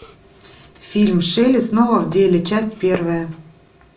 фильм шелли снова в деле часть первая